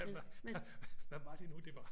Hvad var det nu det var